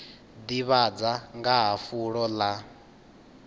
ḓivhadza nga ha fulo ḽa